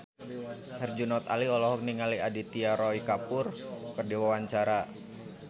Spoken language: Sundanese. Herjunot Ali olohok ningali Aditya Roy Kapoor keur diwawancara